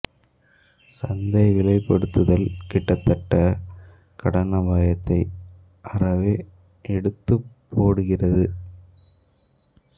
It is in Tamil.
சந்தை விலைப்படுத்துதல் கிட்டத்திட்ட கடன் அபாயத்தை அறவே எடுத்துப் போடுகிறது